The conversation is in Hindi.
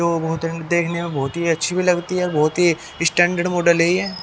दो बोतलें देखने में बहुत ही अच्छी भी लगती है बहुत ही स्टैंडर्ड मॉडल है ये।